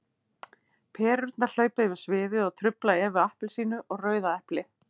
Perurnar hlaupa yfir sviðið og trufla Evu appelsínu og Rauða eplið.